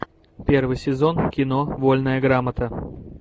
первый сезон кино вольная грамота